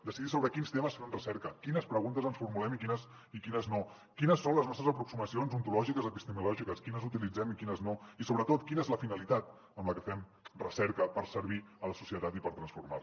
decidir sobre quins temes fem recerca quines preguntes ens formulem i quines no quines són les nostres aproximacions ontològiques o epistemològiques quines utilitzem i quines no i sobretot quina és la finalitat amb la que fem recerca per servir a la societat i per transformar la